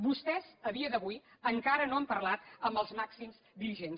vostès a dia d’avui encara no han parlat amb els màxims dirigents